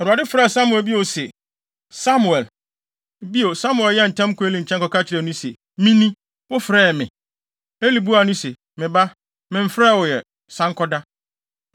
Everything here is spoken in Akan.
Awurade san frɛɛ bio se, “Samuel!” Bio, Samuel san yɛɛ ntɛm kɔɔ Eli nkyɛn kɔka kyerɛɛ no se, “Mini; wofrɛɛ me?” Eli buaa no se, “Me ba, memfrɛɛ wo ɛ; san kɔda.”